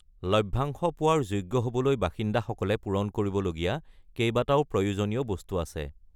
লভ্যাংশ পোৱাৰ যোগ্য হ’বলৈ বাসিন্দাসকলে পূৰণ কৰিবলগীয়া কেইবাটাও প্ৰয়োজনীয় বস্তু আছে।